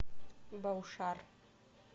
баушар